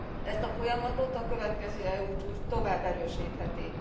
Ezt a folyamatot a következő EU csúcs tovább erősítheti.